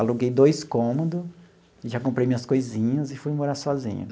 Aluguei dois cômodos, já comprei minhas coisinhas e fui morar sozinho.